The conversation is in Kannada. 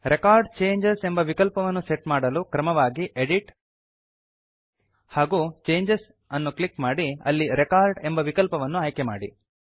ರೆಕಾರ್ಡ್ ಚೇಂಜಸ್ ಎಂಬ ವಿಕಲ್ಪವನ್ನು ಸೆಟ್ ಮಾಡಲು ಕ್ರಮವಾಗಿ ಎಡಿಟ್ ಹಾಗೂ ಚೇಂಜಸ್ ಅನ್ನು ಕ್ಲಿಕ್ ಮಾಡಿ ಅಲ್ಲಿ ರೆಕಾರ್ಡ್ ಎಂಬ ವಿಕಲ್ಪವನ್ನು ಆಯ್ಕೆಮಾಡಿ